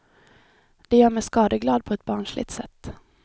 Det gör mig skadeglad på ett barnsligt sätt.